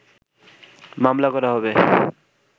মামলা করা হবে